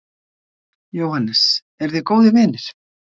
Jóhannes: Eruð þið góðir vinir?